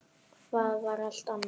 Það var allt annað.